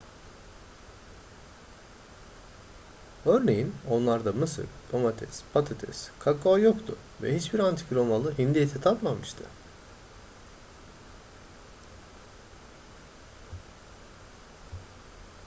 örneğin onlarda mısır domates patates kakao yoktu ve hiçbir antik romalı hindi eti tatmamıştı